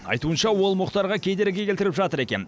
айтуынша ол мұхтарға кедергі келтіріп жатыр екен